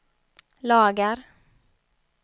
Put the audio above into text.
lagar